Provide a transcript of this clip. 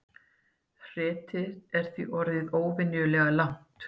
Hretið er því orðið óvenjulega langt